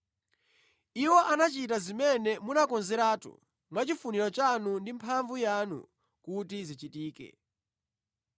Iwo anachita zimene munakonzeratu mwachifuniro chanu ndi mphamvu yanu kuti zichitike.